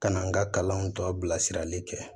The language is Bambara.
Ka na n ka kalanw to a bilasirali kɛ